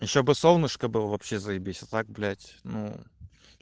ещё бы солнышко было вообще заебись а так блять ну